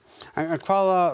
en hvaða